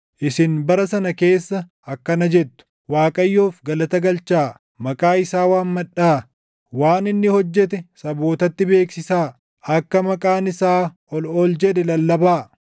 Isin bara sana keessa akkana jettu: “ Waaqayyoof galata galchaa; maqaa isaa waammadhaa; waan inni hojjete sabootatti beeksisaa; akka maqaan isaa ol ol jedhe lallabaa.